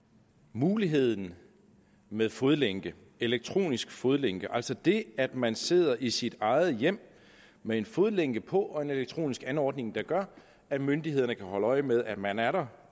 muligheden med fodlænke elektronisk fodlænke altså det at man sidder i sit eget hjem med en fodlænke på og en elektronisk anordning der gør at myndighederne kan holde øje med at man er der